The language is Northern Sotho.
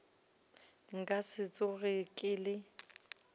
nka se tsoge ke le